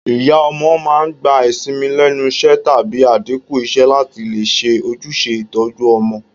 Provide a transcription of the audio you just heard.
Ìyá ọmọ màá n gba ìsinmi lénusé tàbí àdínkù isé látì lè se ojúse ìtoju ọmọ